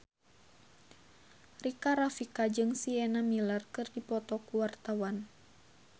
Rika Rafika jeung Sienna Miller keur dipoto ku wartawan